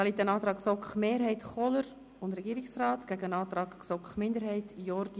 Hier liegt ein Antrag von GSoK-Mehrheit und Regierungsrat sowie ein Antrag der GSoK-Minderheit vor.